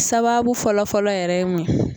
Sababu fɔlɔ fɔlɔ yɛrɛ ye mun ye?